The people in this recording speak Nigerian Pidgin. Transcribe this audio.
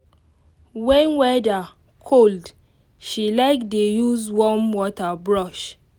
when weather cold she like dey use warm water brush